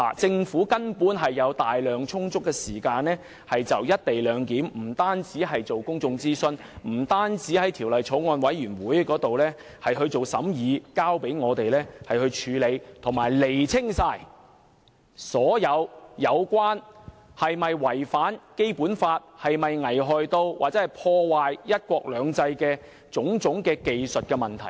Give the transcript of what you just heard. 政府根本有充足時間，就"一地兩檢"進行公眾諮詢，讓法案委員會審議《條例草案》，以及釐清所有有關"一地兩檢"是否違反《基本法》、是否危害或破壞"一國兩制"的問題。